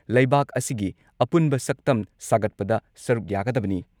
ꯂꯩꯕꯥꯛ ꯑꯁꯤꯒꯤ ꯑꯄꯨꯟꯕ ꯁꯛꯇꯝ ꯁꯥꯒꯠꯄꯗ ꯁꯔꯨꯛ ꯌꯥꯒꯗꯕꯅꯤ ꯫